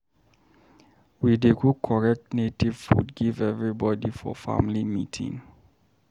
We dey cook correct native food give everybodi for family meeting.